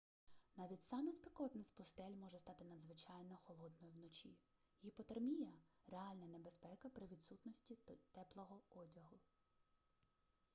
навіть сама спекотна з пустель може стати надзвичайно холодною вночі гіпотермія реальна небезпека при відсутності теплого одягу